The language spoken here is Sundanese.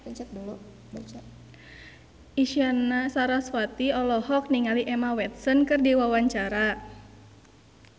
Isyana Sarasvati olohok ningali Emma Watson keur diwawancara